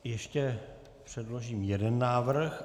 Ještě předložím jeden návrh.